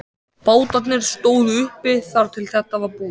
Bátarnir stóðu uppi þar til þetta var búið.